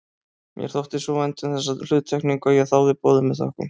Mér þótti svo vænt um þessa hluttekningu að ég þáði boðið með þökkum.